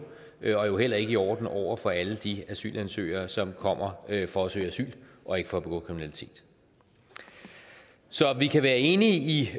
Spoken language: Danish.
og heller ikke i orden over for alle de asylansøgere som kommer for at søge asyl og ikke for at begå kriminalitet så vi kan være enige i